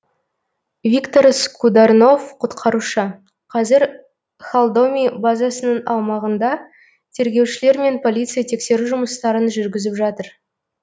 виктор скударнов құтқарушы қазір холдоми базасының аумағында тергеушілер мен полиция тексеру жұмыстарын жүргізіп жатыр